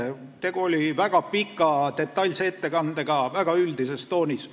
Tegu oli väga pika, detailse ettekandega väga üldises toonis.